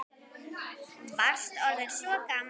Varst orðinn svo gamall.